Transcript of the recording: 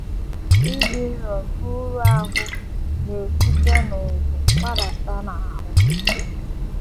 Ịdị nro nke um uru ahụ́ na um - esite n’ubu gbadata um n’ahụ́.